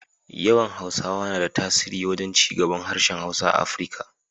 Yawan Hausawa na da tasiri wajen cigaban harshen Hausa a Afirika.